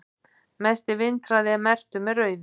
mesti vindhraði er merktur með rauðu